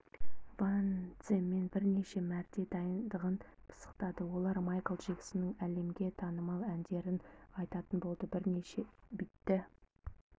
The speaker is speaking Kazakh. ваньцземен бірнеше мәрте дайындығын пысықтады олар майкл джексонның әлемге танымал әндерін айтатын болады бірнеше іитті